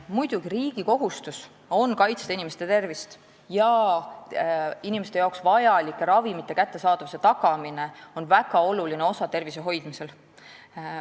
" Muidugi, riigi kohustus on kaitsta inimeste tervist ja inimeste jaoks vajalike ravimite kättesaadavuse tagamine on väga oluline osa tervise hoidmisel.